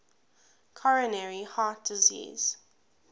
coronary heart disease